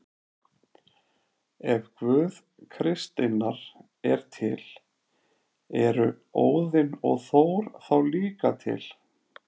Ef Guð kristninnar er til, eru Óðinn og Þór þá líka til?